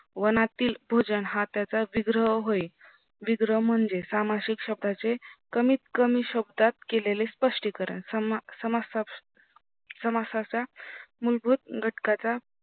वनातील भोजन हा त्याचा विग्रह होय विग्रह म्हणजे सामासिक शब्दाचे कमीत कमी शब्दात केलेले स्पष्टीकरण समासाच्या मूलभूत घटकाचा